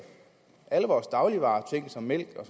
alle vores dagligvarer ting som mælk og